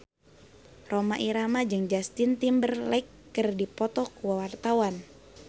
Rhoma Irama jeung Justin Timberlake keur dipoto ku wartawan